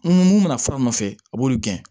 Mun mana fara o nɔfɛ a b'olu gɛn